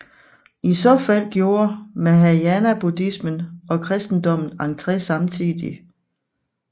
I så fald gjorde mahayanabuddhismen og kristendommen entré samtidig